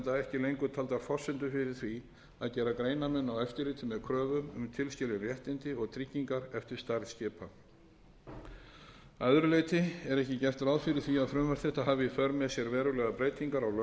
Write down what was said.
ekki lengur taldar forsendur fyrir því að gera greinarmun á eftirliti með kröfum um tilskilin réttindi og tryggingar eftir stærð skipa að öðru leyti er ekki gert ráð fyrir því að frumvarp þetta hafi í för með sér verulegar breytingar á lögskráningunni